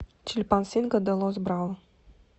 чильпансинго де лос браво